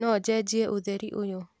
no njenjie ũtheri ũyũ